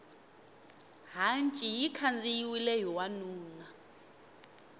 hanci yi khandziyiwile hi wanuna